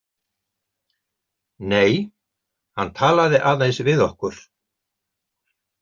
Nei, hann talaði aðeins við okkur.